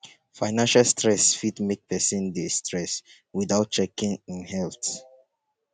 financial stress fit make person dey stress without checking im health